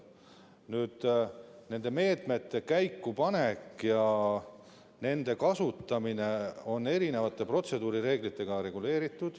Nende meetmete käikupanek ja kasutamine on reguleeritud protseduurireeglitega.